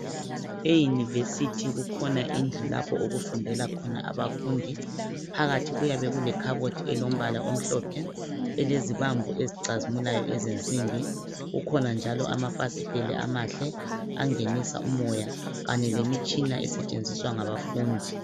Eyunivesithi kukhona indlu lapho okufundela khona abafundi. Phakathi kuyabe kulekhabothi elombala omhlophe, elezibambo ezicazimulayo ezensimbi. Kukhona njalo amafasiteli amahle angenisa umoya, kanye lemitshina esetshenziswa ngabafundi.